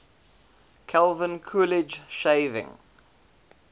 calvin coolidge shaving